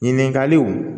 Ɲininkaliw